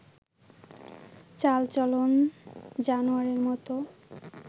চাল-চলন জানোয়ারের মত